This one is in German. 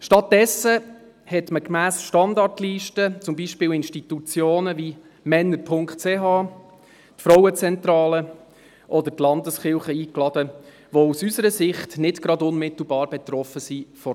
Stattdessen lud man gemäss Standardliste zum Beispiel Institutionen wie männer.ch, die Frauenzentrale oder die Landeskirchen ein, die aus unserer Sicht von dieser Thematik nicht gerade unmittelbar betroffen sind.